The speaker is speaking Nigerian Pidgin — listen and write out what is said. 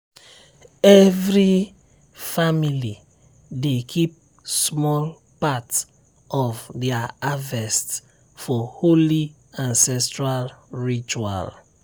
every family dey keep small part of their harvest for holy ancestral ritual.